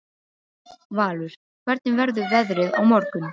Valur, hvernig verður veðrið á morgun?